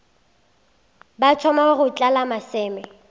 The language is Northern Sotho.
ba thoma go tlala maseme